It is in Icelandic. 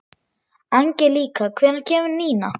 Angelíka, hvenær kemur nían?